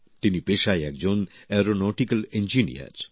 তিনি পেশায় একজন এরোনোটিক্যাল ইঞ্জিনিয়ার